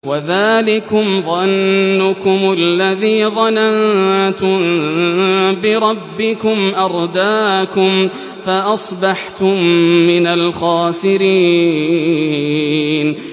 وَذَٰلِكُمْ ظَنُّكُمُ الَّذِي ظَنَنتُم بِرَبِّكُمْ أَرْدَاكُمْ فَأَصْبَحْتُم مِّنَ الْخَاسِرِينَ